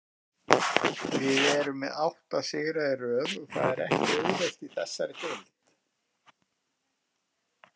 Við erum með átta sigra í röð og það er ekki auðvelt í þessari deild.